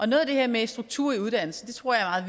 noget af det her med struktur i uddannelsen tror jeg